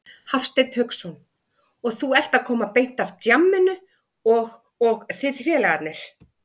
Hafsteinn Hauksson: Og þú ert að koma beint af djamminu og, og þið félagarnir?